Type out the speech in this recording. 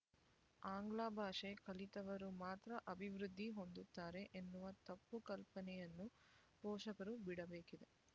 ಆಂಗ್ಲಭಾಷೆ ಕಲಿತವರು ಮಾತ್ರ ಅಭಿವೃದ್ದಿ ಹೊಂದುತ್ತಾರೆ ಎನ್ನುವ ತಪ್ಪು ಕಲ್ಪನೆಯನ್ನು ಪೋಷಕರು ಬಿಡಬೇಕಿದೆ